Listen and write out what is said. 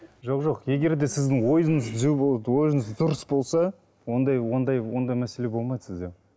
жоқ жоқ егер де сіздің ойыңыз түзу болып ойыңыз дұрыс болса ондай ондай ондай мәселе болмайды сізде